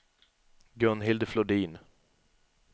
Gunhild Flodin